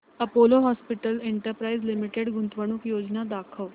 Apollo hospitals enterprise limited गुंतवणूक योजना दाखव